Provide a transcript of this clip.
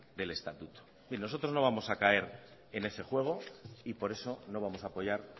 del estatuto en fin nosotros no vamos a caer en ese juego y por eso no vamos a apoyar